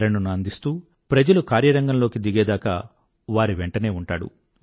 ప్రేరణను అందిస్తూ ప్రజలు కార్యరంగంలోకి దిగే దాకా వారి వెంటనే ఉంటాడు